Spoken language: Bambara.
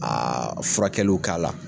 furakɛliw k'a la.